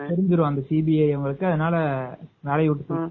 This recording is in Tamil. தெரிஞ்சுரும் அந்த CBI அதுனால வேலைய விட்டு தூக்கிருவாங்க